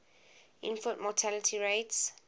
infant mortality rates